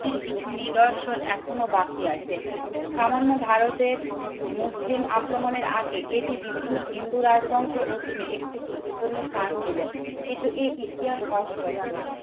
ত্তির কিছু নিদর্শন এখনো বাকি আছে। সামান্য ভারতের মুসলিম আক্রমণের আগে এটি বিভিন্ন হিন্দু রাজবংশের অধীনে একটি গুরুত্বপূর্ণ স্থান ছিল। কিন্তু এই ইতিহাস অস্পষ্ট